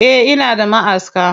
Eh ina da maʼaska.